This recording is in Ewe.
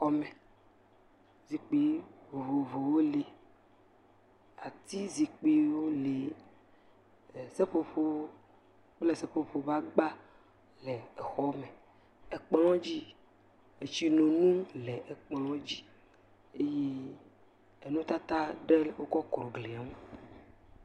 Exɔ me, zikpui vovovowo le, ati zikpuiwo le, seƒoƒo kple seƒoƒo ƒe agba le ekplɔ dzi, etsinunu le kplɔ dzi eye enutata ɖe wokɔ kɔ gli ŋu.